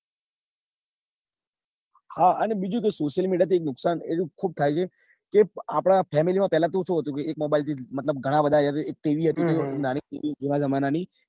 હા અને બીજું કે social media થી એક નુકસાન એ ખુબ થાય છે કે આપડા family શું શું હતું કે એક mobile થી મતલબ ઘણાં બધા એક tv હતી નાની જુના જમાના ની